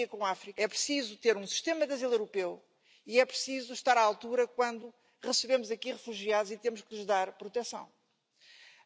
Monsieur le Président Juncker, Monsieur le Vice président Timmermans, je suis au regret de vous dire que si les riches vous disent merci, les peuples européens, eux en revanche, ne vous disent pas merci.